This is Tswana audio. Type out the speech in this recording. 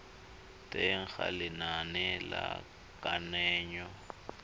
teng ga lenane la kananyo